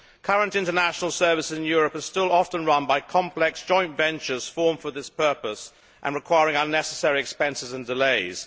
Current international services in Europe are still often run by complex joint ventures formed for this purpose and requiring unnecessary expenses and delays.